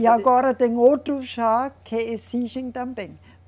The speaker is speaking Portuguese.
E agora tem outros já que exigem também.